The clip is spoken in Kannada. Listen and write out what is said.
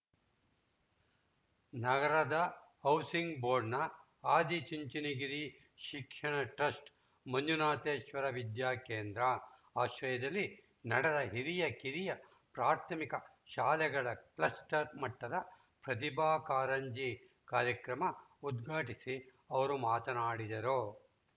ನಗರದ ಹೌಸಿಂಗ್‌ ಬೋರ್ಡ್‌ನ ಆದಿಚುಂಚನಗಿರಿ ಶಿಕ್ಷಣ ಟ್ರಸ್ಟ್‌ ಮಂಜುನಾಥೇಶ್ವರ ವಿದ್ಯಾ ಕೇಂದ್ರ ಆಶ್ರಯದಲ್ಲಿ ನಡೆದ ಹಿರಿಯ ಕಿರಿಯ ಪ್ರಾಥಮಿಕ ಶಾಲೆಗಳ ಕ್ಲಸ್ಟರ್‌ ಮಟ್ಟದ ಪ್ರತಿಭಾ ಕಾರಂಜಿ ಕಾರ್ಯಕ್ರಮ ಉದ್ಘಾಟಿಸಿ ಅವರು ಮಾತನಾಡಿದರು